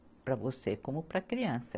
Para você como para a criança.